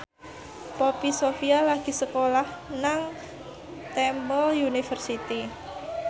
Poppy Sovia lagi sekolah nang Temple University